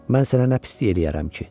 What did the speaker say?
Mən sənə nə pislik eləyərəm ki?